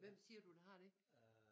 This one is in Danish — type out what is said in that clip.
Hvem siger du der har det?